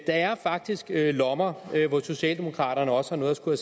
er faktisk lommer hvor socialdemokraterne også har noget at skulle